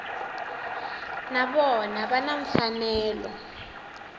na vona va na mfanelo